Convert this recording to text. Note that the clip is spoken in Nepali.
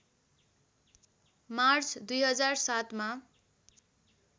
मार्च २००७ मा